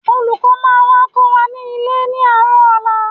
Olùkọ́ máa wá kọ́ wa nílé ní àárọ̀ ọ̀la